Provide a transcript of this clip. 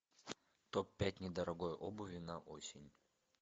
топ пять недорогой обуви на осень